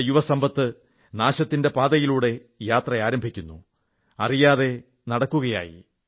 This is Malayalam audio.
നമ്മുടെ യുവസമ്പത്ത് നാശത്തിന്റെ പാതയിലൂടെ യാത്ര ആരംഭിക്കുന്നു അറിയാതെ നടക്കുകയായി